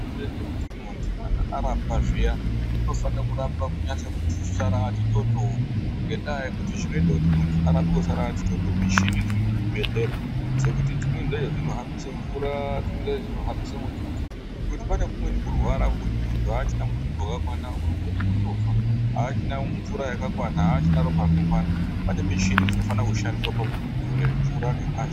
Zvinoita kuti mundhu kana arapwa zviya unofanira kurapwa kunyotsorapwa kusara ati toto ngenyaya yekuti zvinoita kuti munhu arapwe kusara ati toto mishini dziri muzvibhedhlera dzekuti dzimweni dzacho dzinohambisa mvuraa dzimweni dzacho dzinohambisa mututu ngekuti pane kumweni kurwara kwekuti mundhu haachina mututu wakakwana unogona kutofa , aachina mvura yakakwana ,aachina ropa rakakwana, pane mishini dzinofanira kushandiswa pamundhu kudzosera mvura nengazi